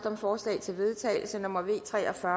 om forslag til vedtagelse nummer v tre og fyrre